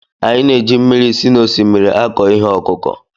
Anyị na-eji mmiri si n'osimiri akọ ihe ọkụkụ